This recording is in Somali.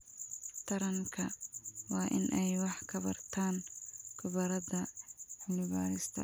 Taranka waa in ay wax ka bartaan khubarada cilmi-baarista.